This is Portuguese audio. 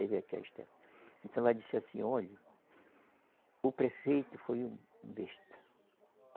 Ela disse assim, olhe, o prefeito foi um besta.